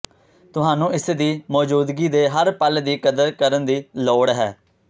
ਤੁਹਾਨੂੰ ਇਸ ਦੀ ਮੌਜੂਦਗੀ ਦੇ ਹਰ ਪਲ ਦੀ ਕਦਰ ਕਰਨ ਦੀ ਲੋੜ ਹੈ